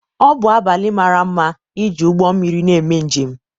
ọ bụ abalị mara mma iji ụgbọ mmiri na-eme njem